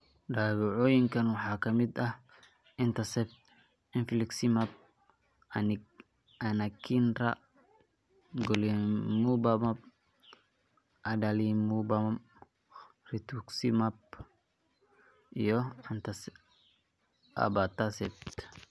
Daawooyinkaan waxaa ka mid ah etanercept, infliximab, anakinra, golimumab, adalimumab, rituximab, iyo abatacept.